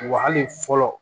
Wa hali fɔlɔ